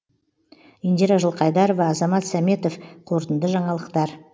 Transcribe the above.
индира жылқайдарова азамат сәметов қорытынды жаңалықтар